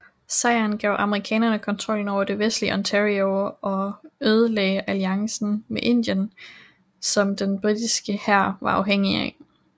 Sejren gav amerikanerne kontrollen over det vestlige Ontario og ødelagde alliancen med Indien som den britiske hær var afhængig af